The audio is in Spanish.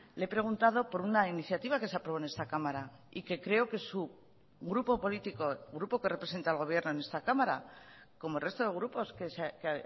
le he preguntado por una iniciativa que se aprobó en esta cámara y que creo que su grupo político grupo que representa al gobierno en esta cámara como el resto de grupos que